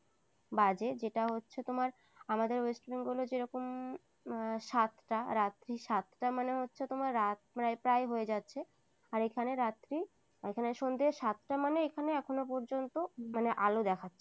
বাজে যেটা হচ্ছে তোমার আমাদের west bengal এ যেরকম সাতটা রাত্রি সাতটা মানে হচ্ছে তোমার রাত মানে প্রায় হয়ে যাচ্ছে আর এখানে রাতির ওখানে সন্ধ্যে সাতটা মানে এখানে এখনো পর্যন্ত মানে আলো দেখা যায়।